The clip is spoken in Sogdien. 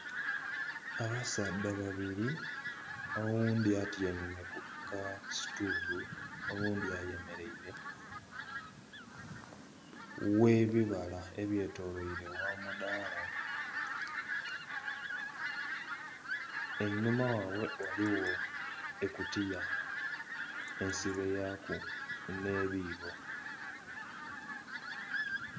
Abasaadha babiri oghundhi atyaime kuka situulu oghundhi ayemereire ghebibala ebyetolwaire gha madhaala einhuma ghabwe ghaligho ekutiya ensibe yaku n'ebiibo.